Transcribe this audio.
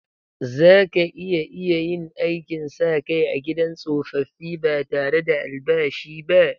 Zaka iya iya yin aikin sa kai a gidan tsofaffi ba tare da albashi ba?